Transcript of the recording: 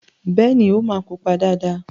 Bẹ́ẹ̀ni, ó máa pupa dáadáa.